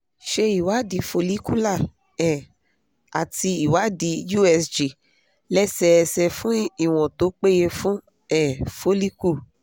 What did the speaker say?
ṣe ìwádìí follicular um àti ìwádìí usg lẹ́sẹẹsẹ̀ fún ìwọn tó peye fún um follicle